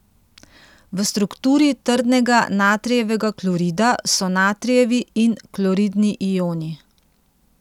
V strukturi trdnega natrijevega klorida so natrijevi in kloridni ioni.